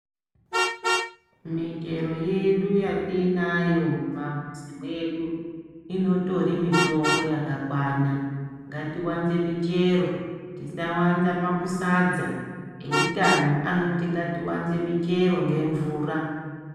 Michero yedu yatinayo mumamizi mwedu inotori mitombo yakakwana ngatiwanze michero tisawanza makusadza eutano anoti ngatiwanze michero ngemvura .